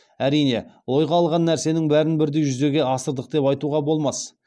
әрине ойға алған нәрсенің бәрін бірдей жүзеге асырдық деп айтуға болмас